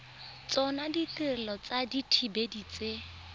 tsona ditirelo tsa dithibedi tse